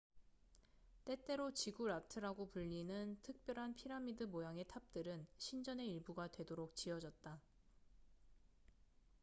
때때로 지구라트라고 불리는 특별한 피라미드 모양의 탑들은 신전의 일부가 되도록 지어졌다